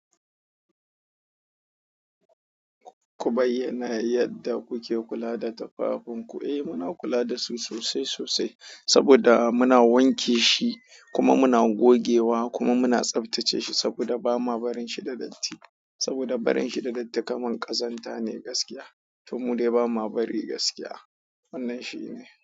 Ku bayyana yadda kuke kula da tafafunku. Eh muna kula da su sosai sosai saboda muna wanke shi kuma muna gogewa kuma muna tsaftace shi saboda ba ma barin shi da datti saboda barin shi da datti kamar ƙazanta ne gaskiya to mude ba ma bari gaskiya. Wannan shi ne.